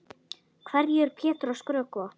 Hverju er Pétur að skrökva?